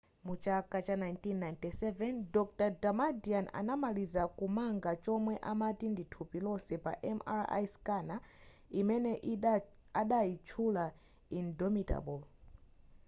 mu chaka 1997 dr damadian anamaliza kumanga chomwe amati ndi thupi lonse pa mri scanner imene adayitchula indomitable